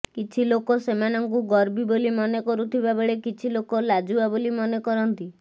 କିଛି ଲୋକ ସେମାନଙ୍କୁ ଗର୍ବୀ ବୋଲି ମନେ କରୁଥିବାବେଳେ କିଛି ଲୋକ ଲାଜୁଆ ବୋଲି ମନେ କରନ୍ତି